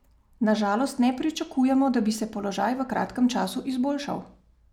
Na žalost ne pričakujemo, da bi se položaj v kratkem času izboljšal.